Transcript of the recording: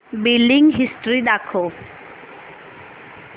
billing history दाखव